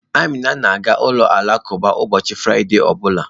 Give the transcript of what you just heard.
Amina na-aga ụlọ alakụba ụbọchị Fraịde ọ bụla.